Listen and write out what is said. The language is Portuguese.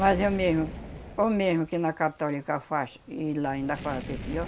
Mas eu mesmo, ou mesmo que na católica faz e lá ainda faz até pior